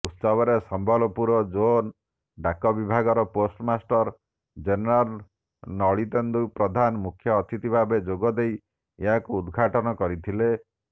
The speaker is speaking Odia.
ଉତ୍ସବରେ ସମ୍ବଲପୁର ଜୋନ ଡାକବିଭାଗର ପୋଷ୍ଟମାଷ୍ଟର ଜେନେରାଲ ଲଳିତେନ୍ଦୁ ପ୍ରଧାନ ମୁଖ୍ୟଅତିଥି ଭାବେ ଯୋଗଦେଇ ଏହାକୁ ଉଦଘାଟନ କରିଥିଲେ